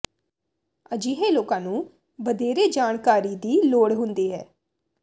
ਅਜਿਹੇ ਲੋਕਾਂ ਨੂੰ ਵਧੇਰੇ ਜਾਣਕਾਰੀ ਦੀ ਲੋੜ ਹੁੰਦੀ ਹੈ